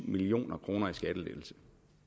million kroner i skattelettelser